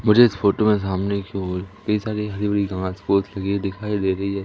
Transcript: मुझे इस फोटो में सामने कि ओर कई सारी हरी भरी घास फुस लगी हुई दिखाई दे रही हैं।